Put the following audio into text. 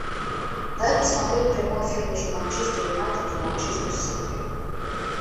дай посмотреть прямой эфир между манчестер юнайтед и манчестер сити